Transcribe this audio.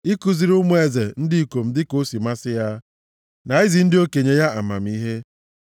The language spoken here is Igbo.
ikuziri ụmụ eze ndị ikom dịka o si masị ya, na izi ndị okenye ya amamihe.